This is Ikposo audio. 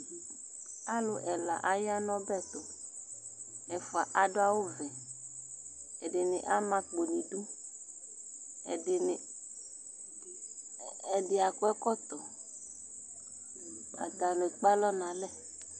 Alʋ ɛla aya n'ɔbɛtʋ, aɣɛfua adʋ awʋ vɛ, ɛdini am'akpo n'idu, ɛdini, ɛdi ak'ɛkɔtɔ, atani ekpe alɔ n'alɛ